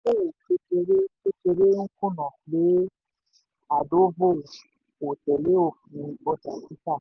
kékeré kékeré ń kùnà pé ardovo kò tẹ̀lé òfin ọjà títà.